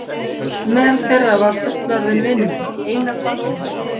Meðal þeirra var fullorðinn vinur minn, Einar Baldvinsson.